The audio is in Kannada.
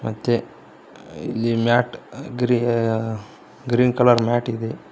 ಮತ್ತೆ ಇಲ್ಲಿ mat gree green colour mat ಇದೆ.